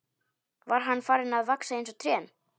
Var hann farinn að vaxa eins og trén?